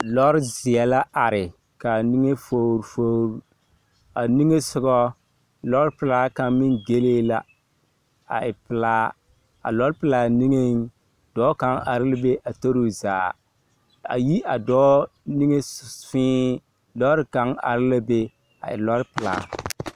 Lɔzeɛ la are ka a niŋe fogiri fogiri a niŋe soga, lɔpelaa kaŋa meŋ gelee la aa e pelaa. A lɔpelaa niŋeŋ dɔɔ kaŋa are la be a tori o zaa. A yi a dɔɔ niŋe ss… fẽẽ lɔre kaŋa are la be a e lɔre pelaa.